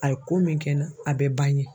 A ye ko min kɛ n na a bɛ ban yen.